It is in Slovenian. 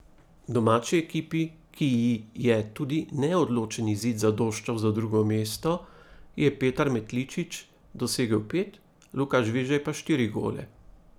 V domači ekipi, ki ji je tudi neodločen izid zadoščal za drugo mesto, je Petar Metličić dosegel pet, Luka Žvižej pa štiri gole.